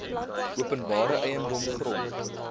openbare eiendom grond